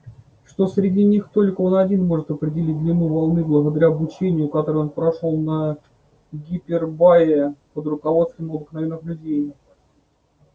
что среди них только он один может определить длину волны благодаря обучению которое он прошёл на гипербае под руководством обыкновенных людей